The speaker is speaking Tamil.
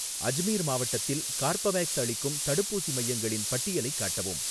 அஜ்மீர் மாவட்டத்தில் கார்பவேக்ஸ் அளிக்கும் தடுப்பூசி மையங்களின் பட்டியலைக் காட்டவும்